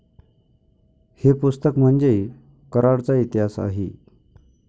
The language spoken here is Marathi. हे पुस्तक म्हणजे कराडचा इतिहास आहे.